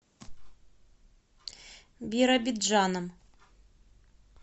биробиджаном